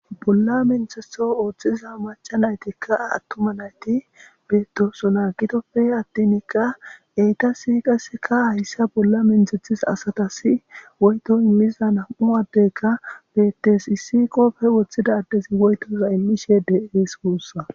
Bolla menthetho ooththiza maca naytikka attuma nayti beettoso naa gitoppe attinikka eytasi qaseka hayssa bolla menthethis asatasi woyto immiza nam'u addeka bettes issi qoppe woththida addezi woytoza immishe deees puussa.